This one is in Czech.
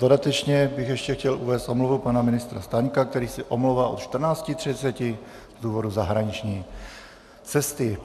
Dodatečně bych ještě chtěl uvést omluvu pana ministra Staňka, který se omlouvá od 14.30 z důvodu zahraniční cesty.